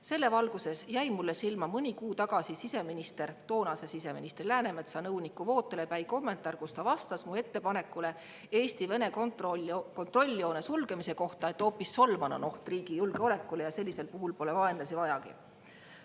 Selles valguses jäi mulle silma mõni kuu tagasi siseministri, toonase siseministri Läänemetsa nõuniku Vootele Päi kommentaar, milles ta vastas mu ettepanekule Eesti-Vene kontrolljoone sulgemise kohta, et hoopis Solman on oht riigi julgeolekule ja sellisel puhul pole vaenlasi vajagi.